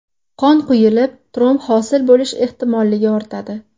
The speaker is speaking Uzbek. Qon quyulib, tromb hosil bo‘lish ehtimolligi ortadi.